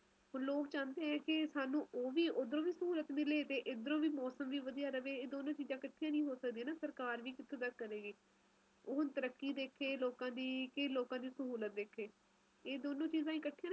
ਆਪਣੇ ਖੁਦ ਦੇ ਦੇਸ਼ ਚ ਏਨੇ ਤਰਾਂ ਦੇ ਮੌਸਮ ਹੈ ਆਪਾ ਗਿਣਤੀ ਨਹੀਂ ਕਰ ਸਕਦੇ ਤੁਸੀਂ ਹੁਣ ਆਪਾ ਇਥੇ ਬੈਠੇ ਆ ਤੁਸੀਂ ਰੋਹਤਾਂਨ ਚਲੇ ਜਾਓ ਮਨਾਲੀ ਚਲੇ ਜਾਓ ਬਰਫ ਨਾਲ ਰਸਤੇ ਢਕੇ ਹੋਏ ਆ